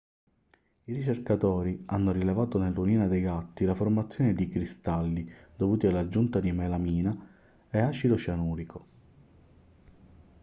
i ricercatori hanno rilevato nell'urina dei gatti la formazione di cristalli dovuti all'aggiunta di melamina e acido cianurico